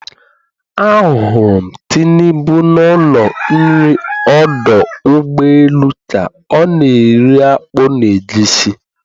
Ahụrụ m Tinubu n'ụlọ nri ọdụ ụgbọelu ka ọ na-eri akpu na egusi.